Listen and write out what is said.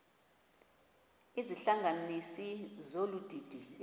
izihlanganisi zolu didi